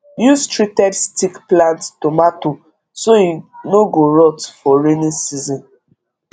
use treated stick plant tomato so e no go rot for rainy season